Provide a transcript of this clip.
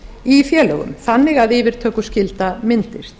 í félögum þannig að yfirtökuskylda myndist